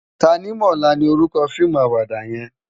Tanimola ni órúkò fiimú àwàdá yèn